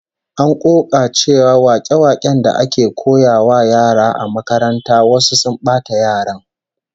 An koka cewa wake-waken da ake koyawa yara a makaranta wasu sun bata yaran